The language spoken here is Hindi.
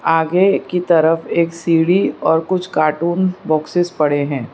आगे की तरफ एक सीढ़ी और कुछ कार्टून बॉक्सेस पड़े हैं।